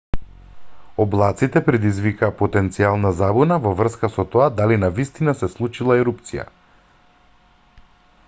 облаците предизвикаа потенцијална забуна во врска со тоа дали навистина се случила ерупција